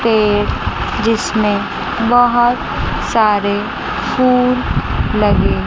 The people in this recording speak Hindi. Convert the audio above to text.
पेड़ जिसमें बहोत सारे फूल लगे--